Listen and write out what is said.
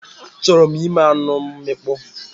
Achọrọ m ime anụ mmịkpọ